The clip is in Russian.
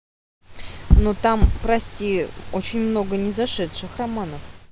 ну там прости очень много не зашедших романов